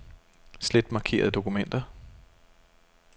Slet markerede dokumenter.